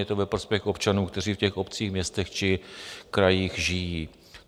Je to ve prospěch občanů, kteří v těch obcích, městech či krajích žijí.